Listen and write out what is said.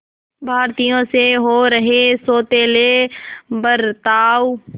भारतीयों से हो रहे सौतेले बर्ताव